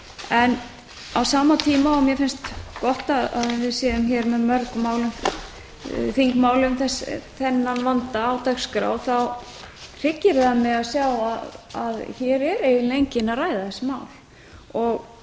tíma og mér finnst gott að við séum hér með mörg þingmál um þennan vanda á dagskrá hryggir það mig að sjá að hér er eiginlega enginn að ræða þessi mál